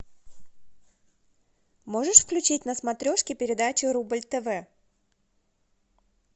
можешь включить на смотрешке передачу рубль тв